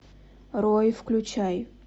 рой включай